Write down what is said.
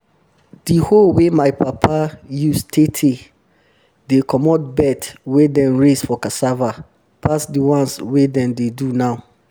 di hoe wey my papa use tey tey dey comot bed wey dem raise for cassava pass dis new ones wey dem dey do now